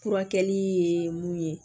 Furakɛli ye mun ye